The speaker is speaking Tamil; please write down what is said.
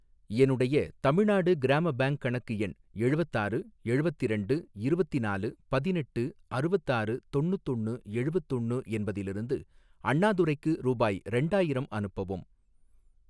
என்னுடைய தமிழ்நாடு கிராம பேங்க் கணக்கு எண் எழுவத்தாறு எழுவத்திரெண்டு இருவத்திநாலு பதினெட்டு அறுவத்தாறு தொண்ணுத்தொன்னு எழுவத்தொன்னு என்பதிலிருந்து அண்ணாதுரைக்கு ரூபாய் ரெண்டாயிரம் அனுப்பவும்.